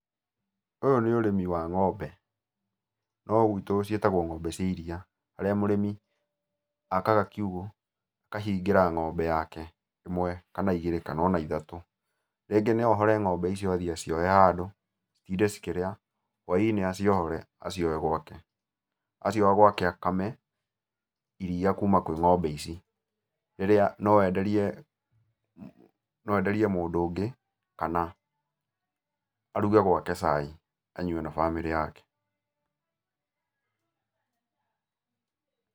Ũyũ nĩ ũrĩmi wa ng'ombe, no gwitũ ciĩtagũo ng'ombe cia iria, harĩa mũrĩmi akaga kiugũ, akahingĩra ng'ombe yake, ĩmwe kana igĩrĩ kana ona ithatũ. Rĩngĩ no ohore ng'ombe icio athiĩ aciohe handũ, citinde cikĩrĩa, whainĩ aciohore aciohe gwake. Acioha gwake akame iria kuma kwĩ ng'ombe ici, rĩrĩa no enderie, no enderie mũndũ ũngĩ, kana aruge gwake cai anyue na bamĩrĩ yake.